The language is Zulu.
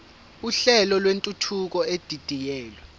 uhlelo lwentuthuko edidiyelwe